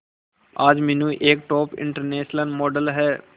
आज मीनू एक top international model है